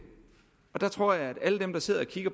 der tror jeg at alle dem der sidder